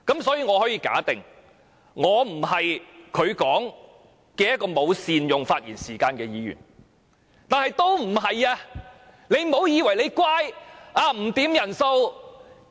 所以，我可以假定我不是他所說的沒有善用發言時間的議員。